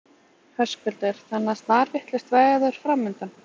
Höskuldur: Þannig að snarvitlaust veður framundan?